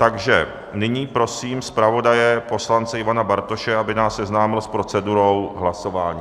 Takže nyní prosím zpravodaje poslance Ivana Bartoše, aby nás seznámil s procedurou hlasování.